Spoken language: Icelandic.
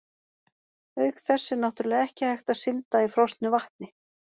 Auk þess er náttúrlega ekki hægt að synda í frosnu vatni!